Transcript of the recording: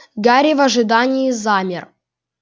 гарри в ожидании замер